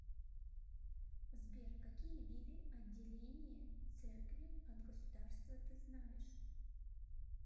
сбер какие виды отделение церкви от государства ты знаешь